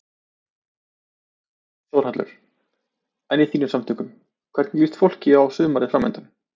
Þórhallur: En í þínum samtökum, hvernig líst fólki á sumarið framundan?